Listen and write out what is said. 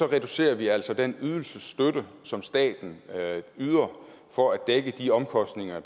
reducerer vi altså den ydelsesstøtte som staten yder for at dække de omkostninger